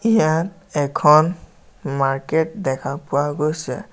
ইয়াত এখন মাৰ্কেট দেখা পোৱা গৈছে।